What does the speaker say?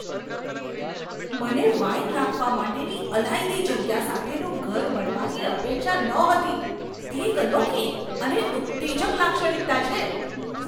મને વાઈન રાખવા માટેની અલાયદી જગ્યા સાથેનું ઘર મળવાની અપેક્ષા નહોતી તે એક અનોખી અને ઉત્તેજક લાક્ષણિકતા છે.